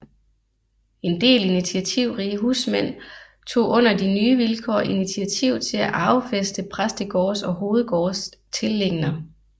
En del initiativrige husmænd tog under de nye vilkår initiativ til at arvefæste præstegårdes og hovedgårdes tilliggender